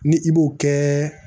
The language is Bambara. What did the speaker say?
Ni i b'o kɛ